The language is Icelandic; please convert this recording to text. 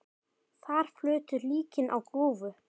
Þar flutu líkin á grúfu.